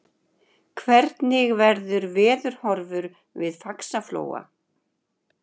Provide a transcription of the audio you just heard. hvernig verður veðurhorfur við faxaflóa